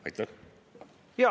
Aitäh!